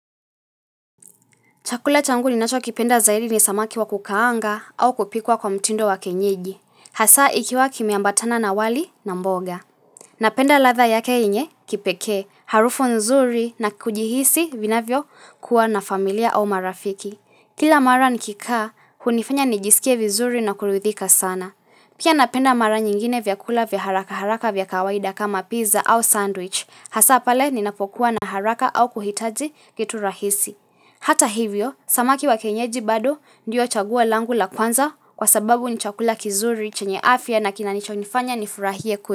Chakula changu ninachokipenda zaidi ni samaki wa kukaanga au kupikwa kwa mtindo wa kienyeji. Hasa ikiwa kimeambatana na wali na mboga. Napenda radha yake yenye kipeke, harufu nzuri na kujihisi vinavyokuwa na familia au marafiki. Kila mara nikikaa, hunifanya nijisikie vizuri na kuridhika sana. Pia napenda mara nyingine vyakula vya haraka haraka vya kawaida kama pizza au sandwich. Hasa pale ninapokuwa na haraka au kuhitaji kitu rahisi. Hata hivyo, samaki wa kienyeji bado ndiyo chaguo langu la kwanza kwa sababu ni chakula kizuri chenye afya na kina nicho nifanya nifurahie kwe.